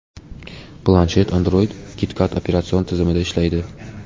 Planshet Android KitKat operatsion tizimida ishlaydi.